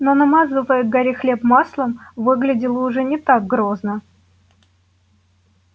но намазывая гарри хлеб маслом выглядела уже не так грозно